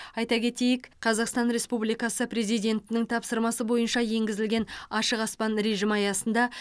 айта кетейік қазақстан республикасы президентінің тапсырмасы бойынша енгізілген ашық аспан режимі аясында